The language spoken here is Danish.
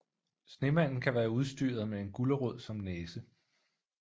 Snemanden kan være udstyret med en gulerod som næse